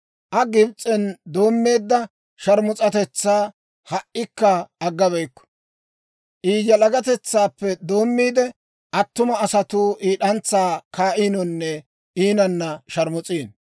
Aa Gibs'en doommeedda sharmus'atetsaa ha"ikka agga beyikku; I yalagatetsaappe doommiide, attuma asatuu I d'antsaa kaa'iinonne iinanna sharmus'iino.